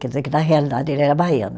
Quer dizer que na realidade ele era baiano.